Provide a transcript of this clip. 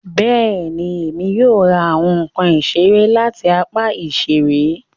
Bẹẹni, Èmi yóò ra awọn nkán isere lati apá iṣere